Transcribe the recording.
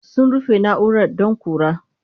Sun rufe na'urar don ƙura.